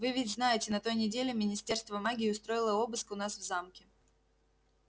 вы ведь знаете на той неделе министерство магии устроило обыск у нас в замке